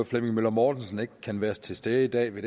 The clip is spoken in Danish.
flemming møller mortensen ikke kan være til stede i dag ved